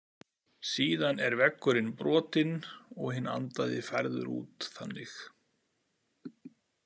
Síðan er veggurinn brotinn og hinn andaði færður út þannig.